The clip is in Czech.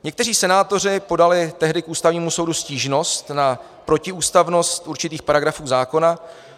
Někteří senátoři podali tehdy k Ústavnímu soudu stížnost na protiústavnost určitých paragrafů zákona.